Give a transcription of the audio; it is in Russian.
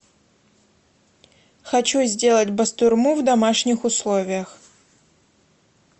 хочу сделать бастурму в домашних условиях